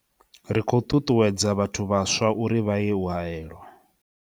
Ri khou ṱuṱuwedza vhathu vhaswa uri vha ye u haelwa.